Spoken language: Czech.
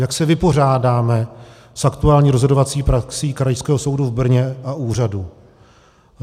Jak se vypořádáme s aktuální rozhodovací praxí Krajského soudu v Brně a úřadu.